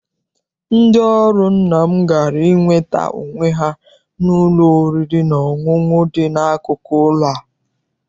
Ndị ọrụ nna m gara inweta onwe ha n'ụlọ oriri na ọṅụṅụ dị n'akụkụ ụlọ a.